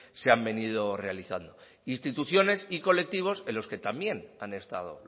se han venido realizando instituciones y colectivos en los que también han estado